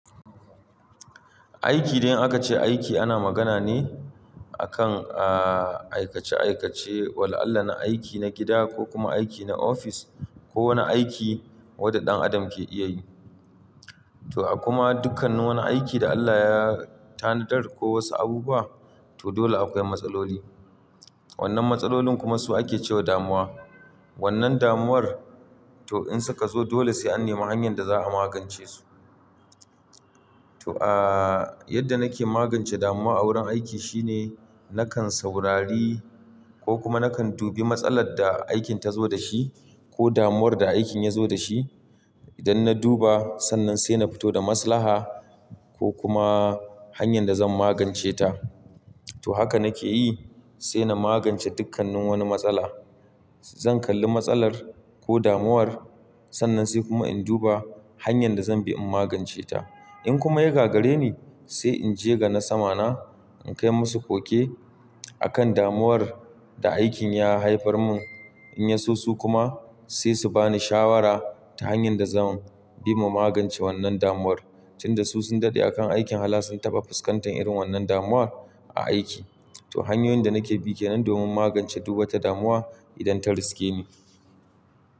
Aiki, dai in aka ce aiki ana magana ne a kan, aa, aikace-aikace. Wala Allah na aiki na gida ko kuma aiki na ofis ko wane aiki wanda ɗan adam ke iya yi. To, a kuma dukkannin wani aiki da Allah ya tanadar ko wasu abubuwa, to dole akwai matsaloli. Wannnan matsalolin kuma su ake ce wa damuwa. Wannnan damuwar to in suka zo dole sai an nema hanyar da za a magance su. To, aa, yadda nake magance damuwa a wurin aiki shine nakan saurari ko kuma nakan duba matsalar da aikin ta zo dashi ko damuwar da aikin ya zo dashi. Idan na duba, sannan sai na fito da maslaha ko kuma hanyar da zan magance ta. To, haka nake yi sai na magance dukkan wani matsala. Zan kalli matsalar ko damuwar sannan sai kuma in duba hanyar da zan bi in magance ta. In kuma ya gagari ni sai in je ga na sama na, in kai musu koke a kan damuwar da aikin ya haifar mun. In yaso su kuma sai su bani shawara ta hanyar da zan bi mu magance wannan damuwar tunda su sun daɗe a kan aikin hala sun taɓa fuskantar irin wannan damuwar a aiki. To, hanyoyin da nake bi ke nan domin magance du wata damuwa idan ta riske ni.